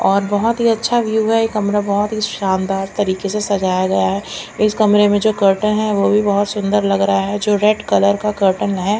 और बहोत ही अच्छा व्यू है ये कमरे बहोत ही शानदार तरीके से सजाया गया है इस कमरे में जो कोटे है वोभी बोत सुन्दर लग रहा है जो रेड कलर का कोटन है।